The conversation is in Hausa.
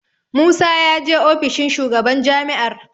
Musa ya je ofishin shugaban jami'ar.